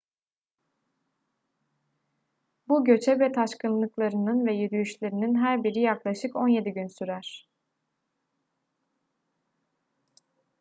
bu göçebe taşkınlıklarının ve yürüyüşlerinin her biri yaklaşık 17 gün sürer